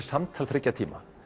samtal þriggja tíma